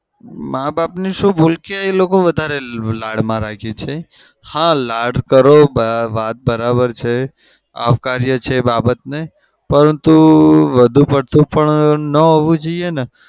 માં-બાપની શું ભૂલ કે એ લોકો વધારે લાડમાં રાખે છે. હા લાડ કરો વાત બરાબર છે. આવકારીએ છે બાબતને. પણ વધુ પડતું ન હોઉં જોઈને ને?